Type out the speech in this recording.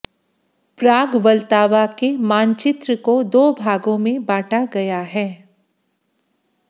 प्राग Vltava के मानचित्र को दो भागों में बांटा गया है